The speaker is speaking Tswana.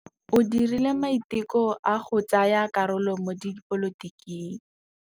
O dirile maitekô a go tsaya karolo mo dipolotiking.